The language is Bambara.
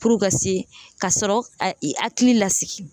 ka se kasɔrɔ ka i hakili lasigi